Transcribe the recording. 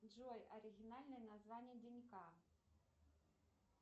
джой оригинальное название день к